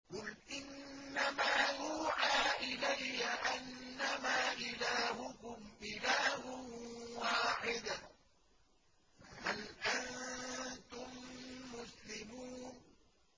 قُلْ إِنَّمَا يُوحَىٰ إِلَيَّ أَنَّمَا إِلَٰهُكُمْ إِلَٰهٌ وَاحِدٌ ۖ فَهَلْ أَنتُم مُّسْلِمُونَ